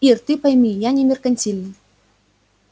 ир ты пойми я не меркантильный